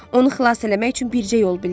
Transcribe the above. Onu xilas eləmək üçün bircə yol bilirəm.